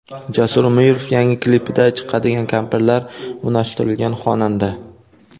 Jasur Umirov yangi klipida chiqadigan kampirlar, unashtirilgan xonanda.